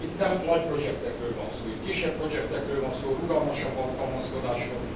Itt nem nagy projektekről van szó. Itt kisebb projektekről van szó, rugalmasabb alkalmazkodásról.